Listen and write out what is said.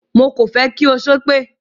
Mo kò fẹ́ kí ó ṣépè!